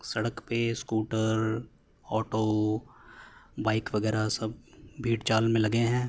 सड़क पे scooter auto bike वगैरह सब भेड़ चाल में लगे हैं।